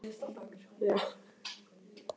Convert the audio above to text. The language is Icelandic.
Hér er sífellt hampað öllu sem er þjóðlegt.